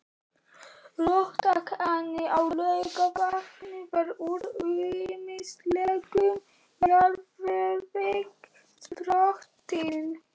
Róttæknin á Laugarvatni var úr ýmislegum jarðvegi sprottin.